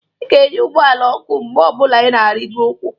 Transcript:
Ị ga-enye ụgbọala ọkụ mgbe ọ bụla ị na-arigo ukwu.